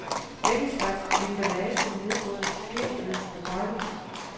Begge slags emballage nedbrydes helt ved forbrænding.